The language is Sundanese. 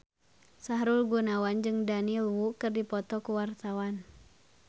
Sahrul Gunawan jeung Daniel Wu keur dipoto ku wartawan